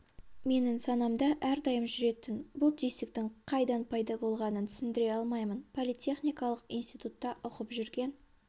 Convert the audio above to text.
менің санамда әрдайым жүретін бұл түйсіктің қайдан пайда болғанын түсіндіре алмаймын политехникалық институтта оқып жүрген